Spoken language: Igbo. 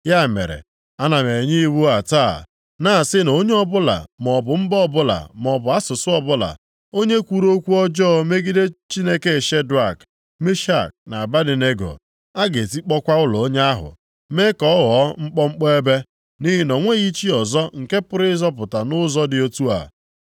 Ya mere, ana m enye iwu a taa, na-asị na onye ọbụla, maọbụ mba ọbụla, maọbụ asụsụ ọbụla, onye kwuru okwu ọjọọ megide Chineke Shedrak, Mishak na Abednego, a ga-etikpọkwa ụlọ onye ahụ, mee ka ọ ghọọ mkpọmkpọ ebe. Nʼihi na o nweghị chi ọzọ nke pụrụ ịzọpụta nʼụzọ dị otu a.”